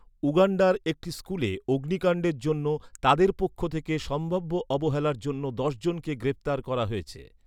উগান্ডার একটি স্কুলে অগ্নিকাণ্ডের জন্য তাদের পক্ষ থেকে সম্ভাব্য অবহেলার জন্য দশজনকে গ্রেপ্তার করা হয়েছে।